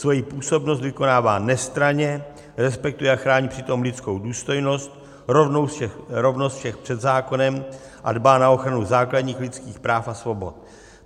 Svoji působnost vykonává nestranně, respektuje a chrání přitom lidskou důstojnost, rovnost všech před zákonem a dbá na ochranu základních lidských práv a svobod.